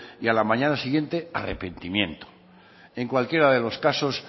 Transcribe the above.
y a la mañana siguiente arrepentimiento en cualquiera de los casos